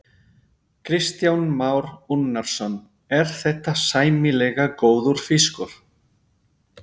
Kristján Már Unnarsson: Er þetta sæmilega góður fiskur?